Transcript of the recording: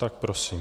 Tak prosím.